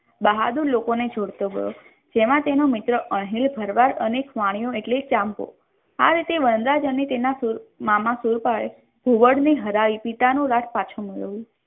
બહાદુર લોકોની જોડતો ગયો જેમાં તેનો મિત્ર અણહિલ ભરવાડ અને વાણિયો એટલે ચાંપો આ રીતે વનરાજ અને તેના મામા સુરપાલે ઘુવડ ને હરાવી પિતાનું રાજ પાછું મેળવ્યું.